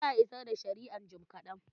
Za a isar da shari'an jim kaɗan.